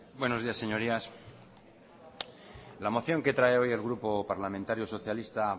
buenos días señorías la moción que trae hoy el grupo parlamentario socialista